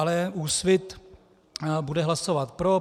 Ale Úsvit bude hlasovat pro.